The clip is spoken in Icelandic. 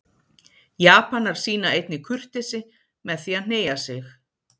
Japanar sýna einnig kurteisi með því að hneigja sig.